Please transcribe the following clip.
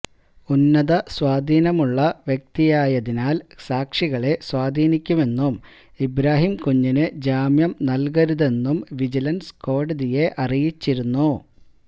ഉന്നത സ്വാധീനമുള്ള വ്യക്തിയായതിനാല് സാക്ഷികളെ സാധീനിക്കുമെന്നും ഇബ്രാഹിം കുഞ്ഞിന് ജാമ്യം നല്കരുതെന്നും വിജിലന്സ് കോടതിയെ അറിയിച്ചിരുന്നു